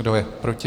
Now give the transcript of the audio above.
Kdo je proti?